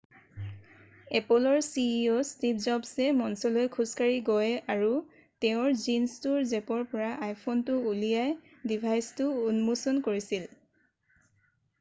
এপ'লৰ ceo Steve জবছে মঞ্চলৈ খোজকাঢ়ি গৈ আৰু তেওঁৰ জীনছটোৰ জেপৰ পৰা iphoneটো উলিয়াই ডিভাইচটো উন্মোচন কৰিছিল।